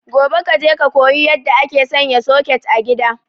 Gobe kaje ka koyi yadda ake sanya soket a gida